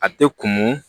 A tɛ kun